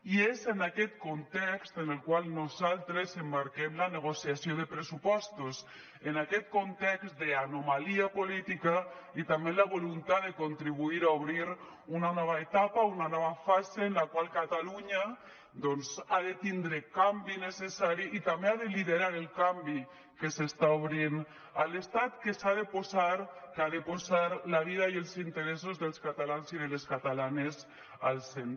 i és en aquest context en el qual nosaltres emmarquem la negociació de pressupostos en aquest context d’anomalia política i també en la voluntat de contribuir a obrir una nova etapa una nova fase en la qual catalunya doncs ha de tindre canvi necessari i també ha de liderar el canvi que s’està obrint a l’estat que s’ha de posar que ha de posar la vida i els interessos dels catalans i de les catalanes al centre